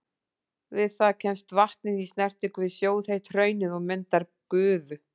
Við það kemst vatnið í snertingu við sjóðheitt hraunið og myndar gufu.